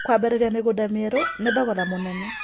Kũambĩrĩrĩrĩa mĩgũnda mĩerũ nĩ thogora mũnene